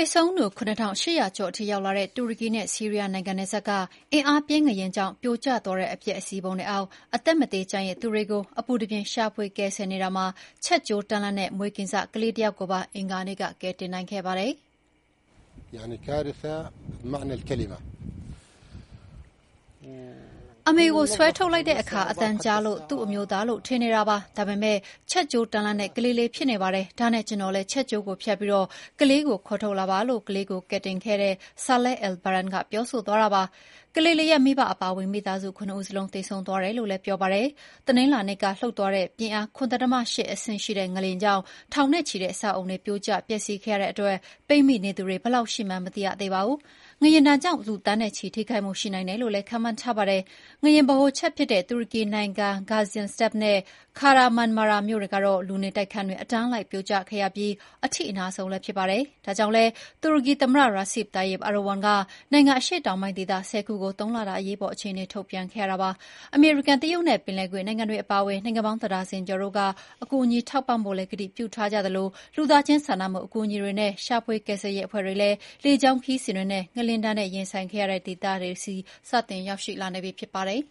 ေဆုံးသူ ၇,၈၀၀ ကျော်ထိရှိလာတဲ့ တူရကီနဲ့ဆီးရီးယားနိုင်ငံနယ်စပ်က အင်အားပြင်းငလျင်ကြောင့် ပြိုကျသွားတဲ့ အပျက်အစီးပုံတွေအောက်မှာ အသက်မသေကျန်ရစ်သူတွေကို အပူတပြင်းရှာဖွေကယ်ဆယ်နေတာမှာ ချက်ကြိုးတန်းလန်းနဲ့ မွေးကင်းစကလေးတယောက်ကိုပါ အင်္ဂါနေ့က ကယ်တင်နိုင်ခဲ့ပါတယ်။ “အမေကိုဆွဲထုတ်လိုက်တဲ့အခါ အသံကြားတော့ သူ့အမျိုးသားလို့ထင်နေတာ၊ ဒါပေမယ့် ချက်ကြိုးတန်းလန်းနဲ့ကလေးလေးဖြစ်နေပါတယ်။ ဒါနဲ့ကျနော်တို့လည်း ချက်ကြိုးကိုဖြတ်ပြီး ကလေးကို ခေါ်ထုတ်လာတာပါ” လို့ ကလေးကိုကယ်တင်ခဲ့တဲ့ Saleh al-Badran ကပြောပါတယ်။ ကလေးလေးရဲ့မိဘအပါအဝင် မိသားစုဝင် ၇ ဦးစလုံးသေဆုံးသွားတယ်လို့လည်း ပြောပါတယ်။ တနင်္လာနေ့ကလှုပ်သွားတဲ့ ပြင်းအား ၇.၈ ငလျင်ကြောင့် ထောင်နဲ့ချီတဲ့အဆောက်အအုံတွေ ပြိုကျပျက်စီးခဲ့ရတဲ့အတွက် ပိတ်မိနေသူ ဘယ်လောက်ရှိမှန်းမသိရသေးပါဘူး။ ငလျင်ဒဏ်ကြောင့် လူသန်းနဲ့ချီ ထိခိုက်မှုရှိနိုင်တယ်လို့လည်းခန့်မှန်းထားပါတယ်။ ငလျင်ဗဟိုချက်ဖြစ်တဲ့ တူရကီနိုင်ငံ Gaziantep နဲ့ Kahramanmaras မြို့တွေတော့ လူနေတိုက်ခန်းတွေ အတန်းလိုက်ပြိုကျခဲ့ရပြီး အထိအနာဆုံးလည်း ဖြစ်ပါတယ်။ ဒါကြောင့်လည်း တူရကီသမ္မတ Recep Tayyip Erdogan က နိုင်ငံအရှေ့တောင်ပိုင်းဒေသ ၁၀ ခုကို ၃ လတာ အရေးပေါ်အခြေအနေထုတ်ပြန်ခဲ့ပါတယ်။ အမေရိကန်၊ တရုတ်နဲ့ ပင်လယ်ကွေ့နိုင်ငံတွေအပါအဝင် နိုင်ငံပေါင်း တဒါဇင်ကျော်တို့က ကူညီထောက်ပံ့ပို့ကတိပြုထားကြတာပါ။ လူသားချင်းစာနာမှုအကူအညီတွေနဲ့ ရှာဖွေကယ်ဆယ်ရေးအဖွဲ့တွေလည်း လေကြောင်းခရီးစဉ်တွေနဲ့ ငလျင်ဒဏ်နဲ့ရင်ဆိုင်နေရတဲ့ဒေသတွေဆီ စတင်ရောက်ရှိလာနေပြီဖြစ်ပါတယ်